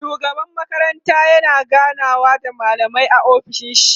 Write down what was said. shugaban makaranta yana ganawa da mallamai a ofishin shi